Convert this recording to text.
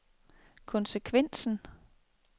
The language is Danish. konsekvensen